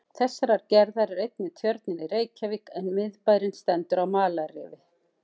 Þessarar gerðar er einnig Tjörnin í Reykjavík, en miðbærinn stendur á malarrifi.